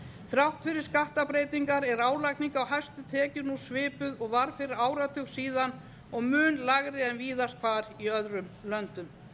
þrátt fyrir skattbreytingar er álagning á hæstu tekjur nú svipuð og var fyrir áratug og mun lægri en víðast hvar í öðrum löndum